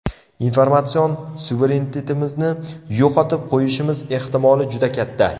Informatsion suverenitetimizni yo‘qotib qo‘yishimiz ehtimoli juda katta.